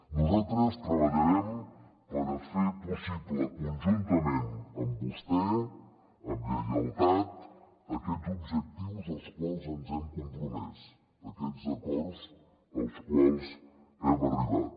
nosaltres treballarem per fer possible conjuntament amb vostè amb lleialtat aquests objectius als quals ens hem compromès aquests acords als quals hem arribat